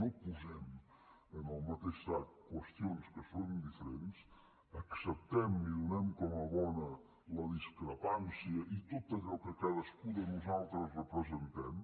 no posem en el mateix sac qüestions que són diferents acceptem i donem com a bona la discrepància i tot allò que cadascú de nosaltres representem